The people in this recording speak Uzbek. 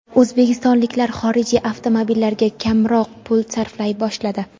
O‘zbekistonliklar xorijiy avtomobillarga kamroq pul sarflay boshladi.